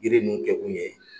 Yiri ninnu kɛ kun ye